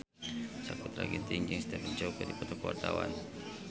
Sakutra Ginting jeung Stephen Chow keur dipoto ku wartawan